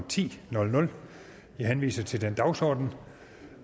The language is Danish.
ti jeg henviser til den dagsorden